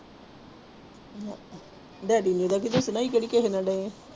ਦੱਸਣਾ ਸੀ ਕਿਹੜਾ ਕਿਸੇ ਨਾਲ ਗਏ ਹਾਂ।